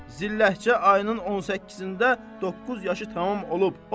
Zilləhcə ayının 18-də 9 yaşı tamam olub.